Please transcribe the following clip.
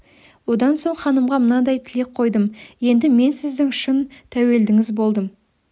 одан соң ханымға мынадай тілек қойдым енді мен сіздің шын тәуелдіңіз болдым